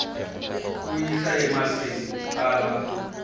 ku yisa emahlweni ku tala